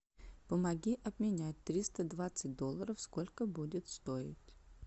помоги обменять триста двадцать долларов сколько будет стоить